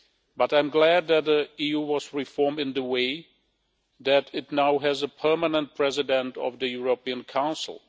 but I am glad that the EU was reformed in the way that it now has a permanent president of the European Council.